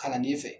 Kalanden fɛ